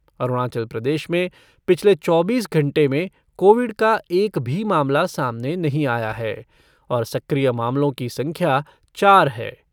अरुणाचल प्रदेश में पिछले चौबीस घंटे में कोविड का एक भी मामला सामने नही आया है और सक्रिय मामलों की संख्या चार है।